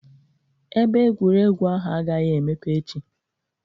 Ebe egwuregwu ahụ agaghị emepe echi